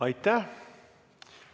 Aitäh!